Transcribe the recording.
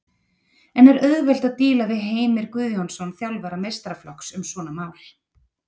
En er auðvelt að díla við Heimir Guðjónsson þjálfara meistaraflokks um svona mál?